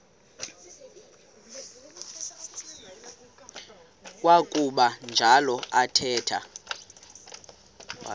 kwakuba njalo athetha